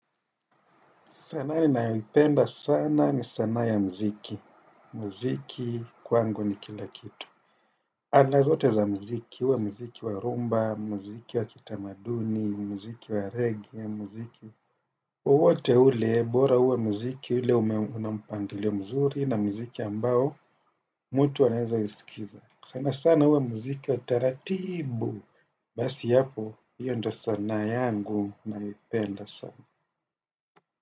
Sanaa ninaipenda sana ni sanaa ya mziki. Mziki kwangu ni kila kitu. Aina zote za mziki. Uwe mziki wa rhumba, mziki wa kitamaduni, mziki wa regea, mziki. Uwote ule, bora uwe mziki ule una mpangilio mzuri na mziki ambao, mtu anaweza usikiza. Sana sana uwe mziki ya taratibu. Basi hapo, hiyo ndio sanaa yangu naipenda sana.